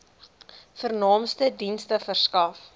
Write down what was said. vernaamste dienste verskaf